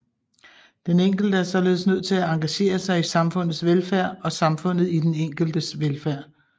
Den enkelte er således nødt til at engagere sig i samfundets velfærd og samfundet i den enkeltes velfærd